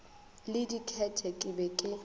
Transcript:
le diket ke be ke